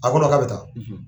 A ko k'a bɛ taa